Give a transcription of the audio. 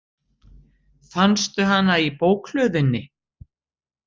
Fannstu hana í bókhlöðunni?